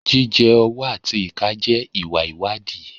Jíjẹ ọwọ́ àti ìka jẹ́ ìwà ìwádìí.